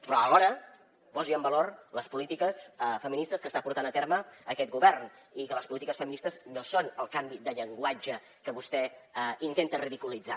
però alhora posi en valor les polítiques feministes que està portant a terme aquest govern i que les polítiques feministes no són el canvi de llenguatge que vostè intenta ridiculitzar